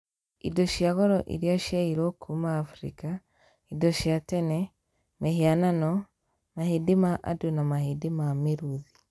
Indo cia goro iria ciaiyirũo kuuma Afrika: indo cia tene, mĩhianano, mahĩndĩ ma andũ na mahĩndĩ ma mĩrũũthi.